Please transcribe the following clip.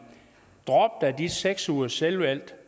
drop da de seks ugers selvvalgt